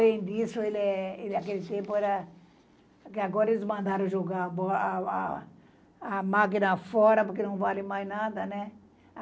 Além disso, ele é... ele aquele tempo era... É que agora eles mandaram jogar a bo a a a máquina fora porque não vale mais nada, né?